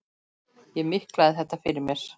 Ég miklaði þetta fyrir mér.